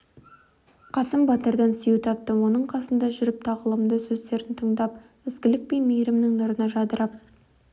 қасым батырдан сүйеу таптым оның қасында жүріп тағылымды сөздерін тыңдап ізгілік пен мейірімнің нұрына жадырап